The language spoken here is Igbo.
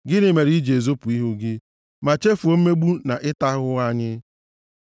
Gịnị mere i ji ezopụ ihu gị, ma chefuo mmegbu na ịta ahụhụ anyị?